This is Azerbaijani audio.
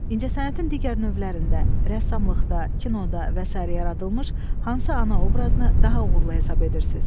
İncəsənətin digər növlərində rəssamlıqda, kinoda və sairə yaradılmış hansı ana obrazını daha uğurlu hesab edirsiz?